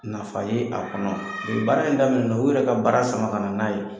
Nafa ye a kɔnɔ nin baara in daminɛ na u yɛrɛ ka baara sama ka na n'a ye.